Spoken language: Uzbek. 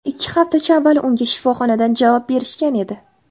Ikki haftacha avval unga shifoxonadan javob berishgan edi.